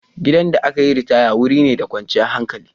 Gidan da aka yi ritaya wuri ne da kwanciyar hankali.